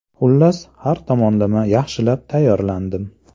Xullas, har tomonlama yaxshilab tayyorlandim.